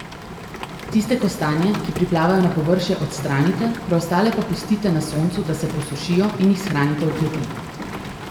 Tiste kostanje, ki priplavajo na površje, odstranite, preostale pa pustite na soncu, da se posušijo, in jih shranite v kleti.